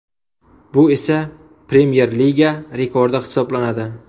Bu esa Premyer Liga rekordi hisoblanadi.